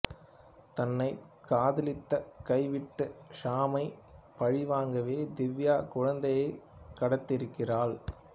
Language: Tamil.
தன்னைக் காதலித்து கைவிட்ட ஷாமை பழிவாங்கவே திவ்யா குழந்தையைக் கடத்தியிருக்கிறாள்